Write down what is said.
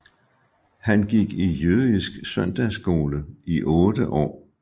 Han gik i jødisk søndagsskole i 8 år